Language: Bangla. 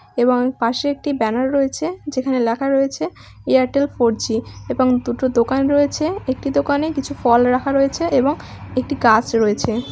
এবং পাশে একটি ব্যানার রয়েছে যেখানে লেখা রয়েছে এয়ারটেল ফোর জি এবং দুটো দোকান রয়েছে একটি দোকানে কিছু ফল রাখা রয়েছে এবং একটি গাছ রয়েছে ।